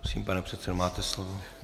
Prosím, pane předsedo, máte slovo.